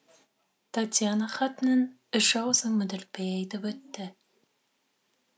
татьяна хатының үш аузын мүдіртпей айтып өтті